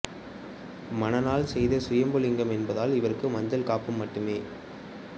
மணலால் செய்த சுயம்புலிங்கம் என்பதால் இவருக்கு மஞ்சள் காப்பு மட்டுமே